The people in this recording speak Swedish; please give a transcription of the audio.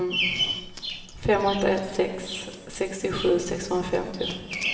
fem åtta ett sex sextiosju sexhundrafemtio